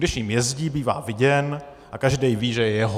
Když jím jezdí, bývá viděn a každý ví, že je jeho.